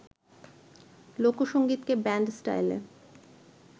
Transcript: লোকসংগীতকে band স্টাইলে